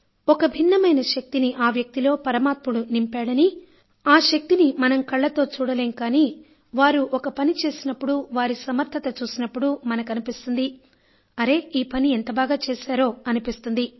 ఒక భిన్నమైన శక్తిని ఆ వ్యక్తిలో పరమాత్ముడు నింపాడనీ ఆ శక్తిని మనం కళ్ళతో చూడలేం కానీ వారు ఒక పని చేసినప్పుడు వారి సమర్థత చూసి మనకు అనిపిస్తుంది అరే ఈ పని ఎంత బాగా చేశారో అనిపిస్తుంది